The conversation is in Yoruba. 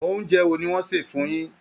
Oúnjẹ wo ni wọ́n sè fún yín?